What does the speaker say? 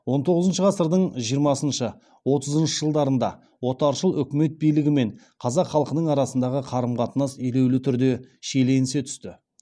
он тоғызыншы ғасырдың жиырмасыншы отызыншы жылдарында отаршыл өкімет билігі мен қазақ халқының арасындағы қарым қатынас елеулі түрде шиеленісе түсті